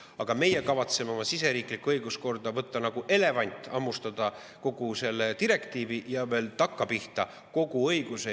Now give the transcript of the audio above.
Aga meie kavatseme oma siseriiklikku õiguskorda nagu elevant, hammustada kogu selle direktiivi ja veel takkapihta kogu õiguse.